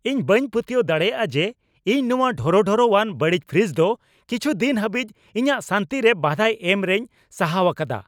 ᱤᱧ ᱵᱟᱹᱧ ᱯᱟᱹᱛᱭᱟᱹᱣ ᱫᱟᱲᱮᱭᱟᱜᱼᱟ ᱡᱮ ᱤᱧ ᱱᱚᱶᱟ ᱰᱷᱚᱨᱚᱰᱷᱚᱨᱚᱼᱟᱱ, ᱵᱟᱹᱲᱤᱡ ᱯᱷᱨᱤᱡᱽ ᱫᱚ ᱠᱤᱪᱷᱩ ᱫᱤᱱ ᱦᱟᱹᱵᱤᱡ ᱤᱧᱟᱹᱜ ᱥᱟᱹᱱᱛᱤ ᱨᱮ ᱵᱟᱫᱷᱟᱭ ᱮᱢ ᱨᱮᱧ ᱥᱟᱦᱟᱣ ᱟᱠᱟᱫᱟ ᱾